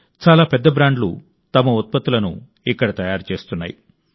చాలా పెద్ద బ్రాండ్లు తమ ఉత్పత్తులను ఇక్కడ తయారు చేస్తున్నాయి